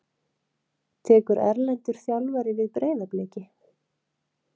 Tekur erlendur þjálfari við Breiðabliki?